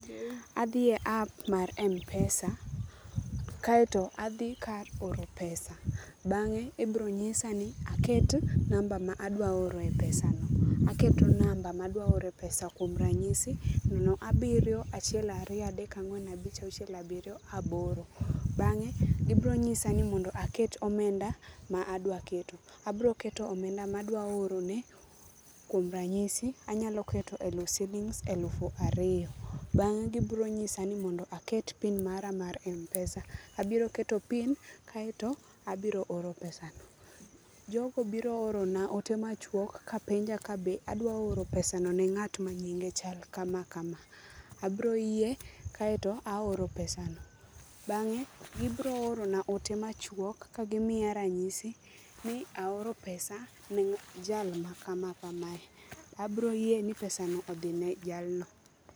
Adhi e app ma mpesa, kaeto adhi kar oro pesa. Bangé ibiro nyisa ni aketi namba ma adwaro oro e pesano. Aketo namba ma adwa oro e pesa, kuom ranyisi, nono, abiriyo, achiel, ariyo, adek, ang'wen, abich, auchiel, abiriyo, aboro. Bangé, gibiro nyisa ni mondo aket omenda ma adwa keto. Abroketo omenda ma adwa orone, kuom ranyisi anyalo keto siling elufu ariyo. Gibiro nyisa ni mondo aket PIN mara mar mpesa, abiro keto PIN, kaeto abiro oro pesa no. Jogo biro orona ote machuok kapenja ka be adwa oro pesa no ne ngát ma nyinge chal kama kama, abiro yie, kaeto aoro pesa no. Bangé, gibiro oro na ote machuok, kagi miya ranyisi ni aoro pesa ne jal ma kama kama, abiro yie ni pesa odhi ne jalno.